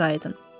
Otağınıza qayıdın.